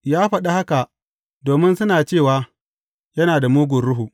Ya faɗi haka domin suna cewa, Yana da mugun ruhu.